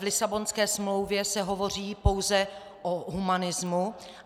V Lisabonské smlouvě se hovoří pouze o humanismu.